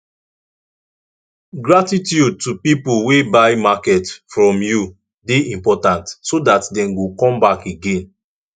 gratitude to pipo wey buy market from you de important so that dem go come back again